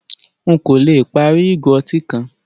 Nkọ̀ lẹ pári igo ọ̀tí kan